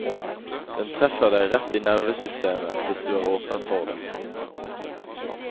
Den treffer deg rett i nervesystemet, hvis du er åpen for det.